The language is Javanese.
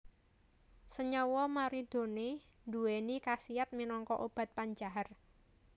Senyawa moridoné nduwèni kasiyat minangka obat pencahar